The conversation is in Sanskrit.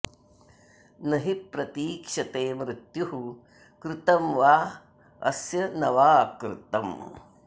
न हि प्रतीक्षते मृत्युः कृतं वाऽस्य न वा कृतम्